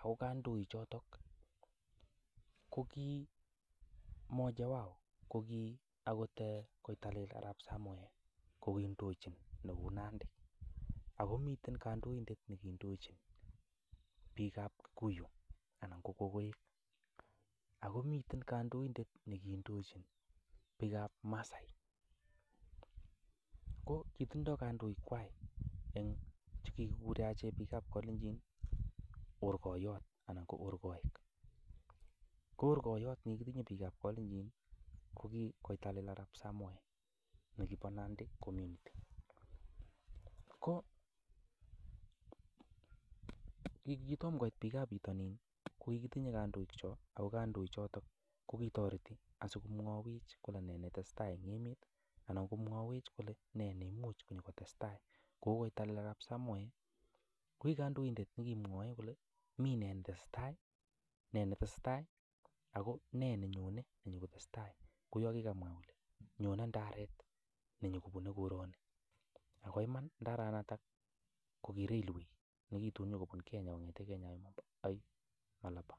Ago kandoikchoto kogi mmoja wao ko ki agot Koitalel Arap Samoe ko kiindochin Nandi. Agomiten kandoindet ne kiindochin biikab Kikuyu anan Kogoek. Ago miten kandoinde ne kiindochin biikab Masaai ko kitindo kandoikkwak che kigikuren achek biikab Kalenjin Orkoiyot anan ko Orkoik. Ko orkoiyot nekigitinye biikab kalenjin ko ki Koitalel Arap Samoe nekibo Nandi community. Ko kogitom koit biikab bitonin kogikitinye kandoikchok ago konoichoto kogitoreti asikomwawech kole nee netesetai en emet anan komwowech kole nee neimuch kotestai kou Koitalel Arap Samoe ko ki kandoindet nekimwowech kole mi nee tesetai nee tesetai ago ne nyone nenyokotesetai. Kou yon kigamwa kole nyone ndaret nenyokobune koroni, ak iman ndaranoto kogi railway nekitun konyokobun Kenya agoi Malaba.